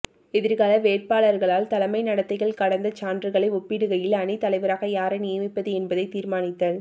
எதிர்கால வேட்பாளர்களால் தலைமை நடத்தைகள் கடந்த சான்றுகளை ஒப்பிடுகையில் அணித் தலைவராக யாரை நியமிப்பது என்பதை தீர்மானித்தல்